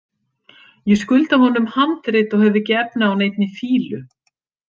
Ég skulda honum handrit og hef ekki efni á neinni fýlu.